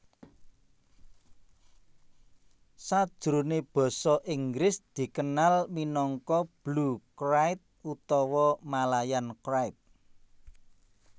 Sajroné basa Inggris dikenal minangka Blue krait utawa Malayan krait